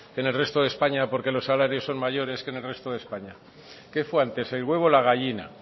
que en el resto de españa porque los salarios son mayores que en resto de españa que fue antes el huevo o la gallina